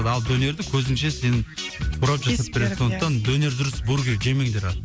ал донерді көзіңше сенің орап жасап береді сондықтан донер дұрыс бургер жемеңдер ал